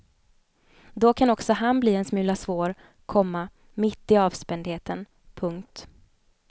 Då kan också han bli en smula svår, komma mitt i avspändheten. punkt